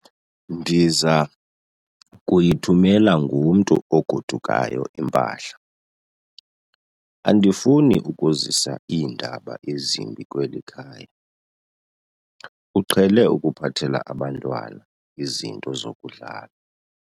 Ndiza kuyithumela ngomntu ogodukayo impahla. Andifuni ukuzisa iindaba ezimbi kweli khaya, uqhele ukuphathela abantwana izinto zokudlala